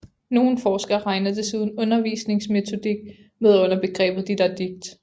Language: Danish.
Nogle forskere regner desuden undervisningsmetodik med under begrebet didaktik